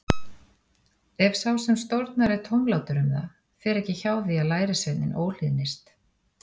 Ef sá sem stórnar er tómlátur um það, fer ekki hjá því að lærisveinninn óhlýðnist.